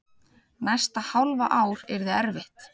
Næsta hálfa ár yrði erfitt.